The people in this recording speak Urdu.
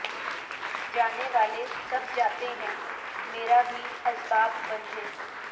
جانے والے سب جاتے ہیں میرا بھی اسباب بندھے